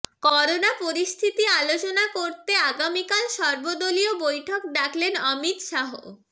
corona পরিস্থিতি আলোচনা করতে আগামিকাল সর্বদলীয় বৈঠক ডাকলেন অমিত শাহ